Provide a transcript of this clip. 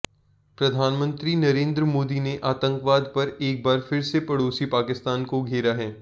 प्रधानमंत्री नरेंद्र मोदी ने आतंकवाद पर एक बार फिर से पड़ोसी पाकिस्तान को घेरा है